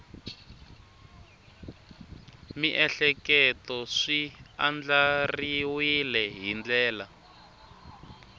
miehleketo swi andlariwile hi ndlela